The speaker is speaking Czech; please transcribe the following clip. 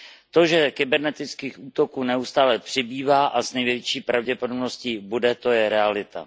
To, že kybernetických útoků neustále přibývá a s největší pravděpodobností dále bude, to je realita.